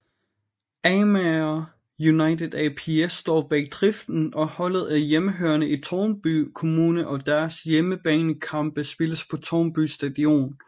Amager United ApS står bag driften og holdet er hjemmehørende i Tårnby Kommune og deres hjemmebanekampe spilles på Tårnby Stadion